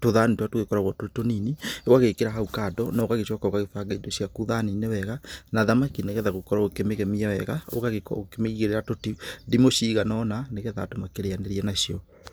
tũthani tũrĩa tũgĩkoragwo tũrĩ tũnini ũgagĩkĩra hau kando na ũgagĩcoka ũgagĩbanga indo ciaku thani-inĩ wega. Na thamaki nĩ getha gũkorwo ũkĩmĩgemia wega ũgakorwo ũkĩmĩigĩrĩra tũndimũ cigana ũna nĩ getha andũ makĩrianĩria nacio.